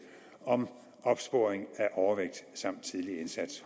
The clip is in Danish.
om opsporing af overvægt samt tidlig indsats